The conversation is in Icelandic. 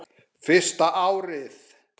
Fyrsta árið.